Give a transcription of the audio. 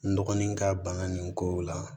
N dɔgɔnin ka bana nin kow la